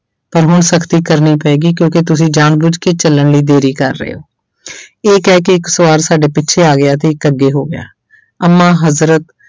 ਪਰ ਹੁਣ ਸਖ਼ਤੀ ਕਰਨੀ ਪਏਗੀ ਕਿਉਂਕਿ ਤੁਸੀਂ ਜਾਣਬੁਝ ਕੇ ਚੱਲਣ ਲਈ ਦੇਰੀ ਕਰ ਰਹੇ ਹੋ ਇਹ ਕਹਿ ਕੇ ਇੱਕ ਸਵਾਰ ਸਾਡੇ ਪਿੱਛੇ ਆ ਗਿਆ ਤੇ ਇੱਕ ਅੱਗੇ ਹੋ ਗਿਆ, ਅੰਮਾ ਹਜ਼ਰਤ